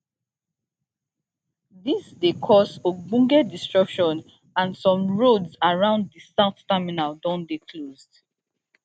dis dey cause ogbonge disruption and some roads around di south terminal don dey closed